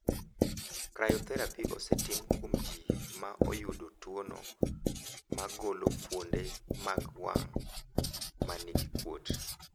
Cryotherapy osetim kuom ji ma oyudo tuwono mar golo fuonde mag wang' ma nigi kuot.